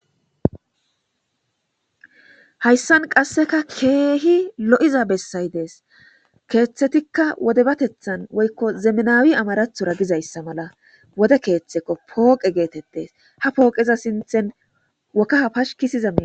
hayssan qasseka keehi lo7iza bessay dees. Keeththetikka wode batethan woykko zemnawi amarathuwara gizayssa mala wode keeththekko pooqe geetettes ha pooqeza sinthen wokkaha pashikisizamii